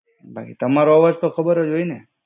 બાકી તમારો અવાજ તો ખબર જ હોય ને.